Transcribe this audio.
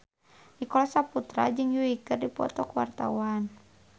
Nicholas Saputra jeung Yui keur dipoto ku wartawan